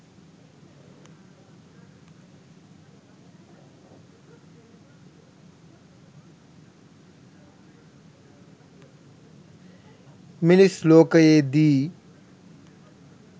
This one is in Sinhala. මිනිස් ලෝකයේ දී